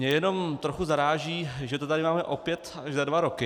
Mě jenom trochu zaráží, že to tady máme opět až za dva roky.